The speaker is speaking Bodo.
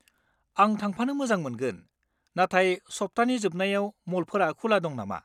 आं थांफानो मोजां मोनगोन, नाथाय सप्तानि जोबनायाव मलफोरा खुला दं नामा?